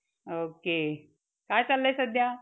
okay. काय चाललंय सध्या?